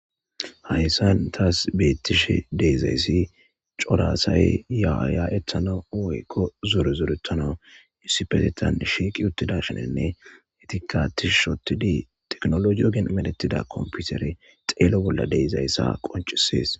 Hayssan taas beettishe deezayssi corasay yaaya ettano woykko zorezorettano issipetetan shiiqi uttida shinenne etikatih shotidi teknolo yogen medetida komputeri xeelo bolla deyzayssa qoncisees.